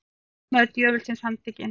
Lögmaður djöfulsins handtekinn